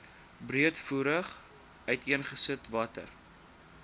breedvoerig uiteengesit watter